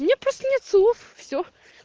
у меня просто нет слов все